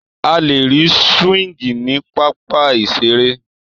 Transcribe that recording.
A lè rí súwíngì ní pápá ìseré